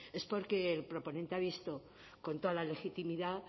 es porque el proponente ha visto con toda la legitimidad